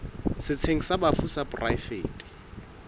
setsheng sa bafu sa poraefete